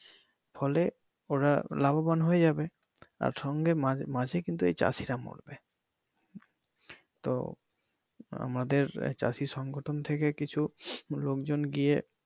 ফলে ওরা লাভবান হয়ে যাবে সঙ্গে আর মাঝে কিন্তু এই চাষিরা মরবে তো আমাদের চাষি সংগঠন থেকে কিছু লোকজন গিয়ে